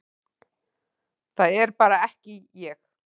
Það er bara ekki ég,